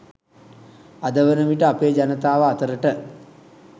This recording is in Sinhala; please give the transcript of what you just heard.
අද වනවිට අපේ ජනතාව අතරට